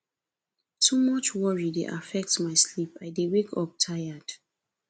too much worry dey affect my sleep i dey wake up tired